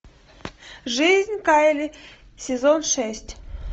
жизнь кайли сезон шесть